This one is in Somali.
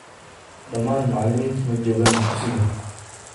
Dhammaan macallimiintu maa jogaan dugsiga